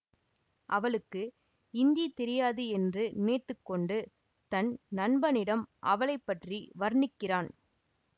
அவளுக்கு இந்தி தெரியாது என்று நினைத்து கொண்டு தன் நண்பனிடம் அவளை பற்றி வர்ணிக்கிறான்